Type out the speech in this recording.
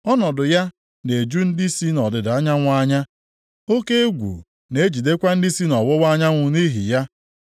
Ọnọdụ ya na-eju ndị si nʼọdịda anyanwụ anya; oke egwu na-ejidekwa ndị si nʼọwụwa anyanwụ nʼihi ya.